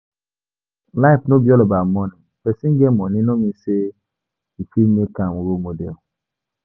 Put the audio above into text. Life no be all about money, person get money no mean say we fit make am role model